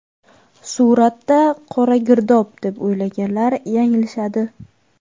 Suratda qora girdob, deb o‘ylaganlar yanglishadi.